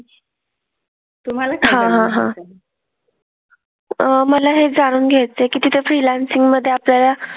हां हां हां. मला हे जाणून घ्यायचंय की त्या freelancing मधे आपल्याला,